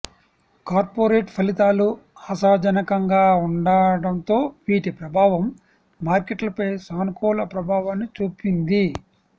corporate ఫలితాలు ఆశాజనకంగాఉండటంతో వీటి ప్రభావం మార్కెట్లపై సానుకూల ప్రభావాన్ని చూపింది